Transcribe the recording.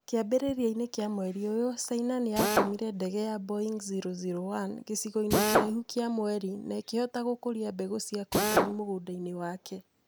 Kĩambĩrĩria-inĩ kĩa mweri ũyũ, China nĩ yatũmire ndege ya Boeng-001 gĩcigo-inĩ kĩraihu gĩa mweri na ĩkĩhota gũkũria mbeũ cia cotoni mũgũnda-ĩnĩ wake